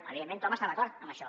evidentment tothom està d’acord en això